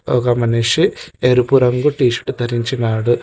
ఒక మనిషి ఎరుపు రంగు టీషర్ట్ ధరించినాడు.